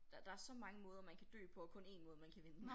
Der der så mange måder man kan dø på og kun én måde man kan vinde